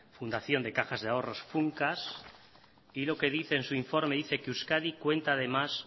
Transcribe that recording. fundación de cajas de ahorros funcas y en su informe dice que euskadi cuenta además